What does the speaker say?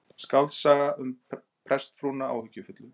Skáldsaga um prestsfrúna áhyggjufullu